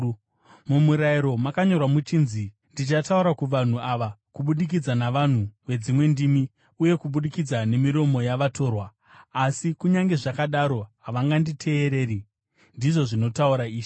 MuMurayiro makanyorwa muchinzi: “Kubudikidza navanhu vedzimwe ndimi uye kubudikidza nemiromo yavatorwa, ndichataura kuvanhu ava, asi kunyange zvakadaro havanganditeereri,” ndizvo zvinotaura Ishe.